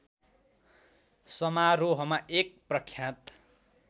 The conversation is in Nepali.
समारोहमा एक प्रख्यात